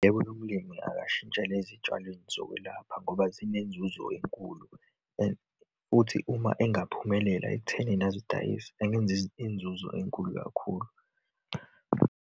Yebo, lo mlimi akashintshele ezitshalweni zokwelapha ngoba zinenzuzo enkulu. And futhi, uma engaphumelela ekuthenini azidayise, angenza inzuzo enkulu kakhulu.